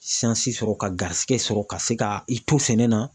sɔrɔ ka garisigɛ sɔrɔ ka se ka i to sɛnɛ na